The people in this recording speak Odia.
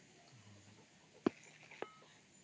noise